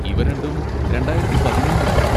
ഇവ രണ്ടും രണ്ടായിരത്തി പതിമൂന്നിലായിരുന്നു.